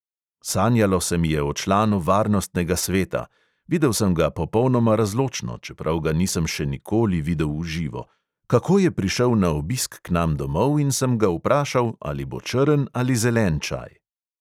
Sanjalo se mi je o članu varnostnega sveta – videl sem ga popolnoma razločno, čeprav ga nisem še nikoli videl v živo –, kako je prišel na obisk k nam domov in sem ga vprašal, ali bo črn ali zelen čaj.